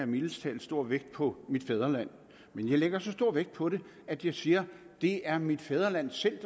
mildest talt stor vægt på mit fædreland men jeg lægger så stor vægt på det at jeg siger at det er mit fædreland selv